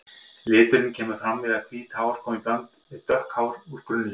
Liturinn kemur fram við að hvít hár koma í bland við dökk hár úr grunnlit.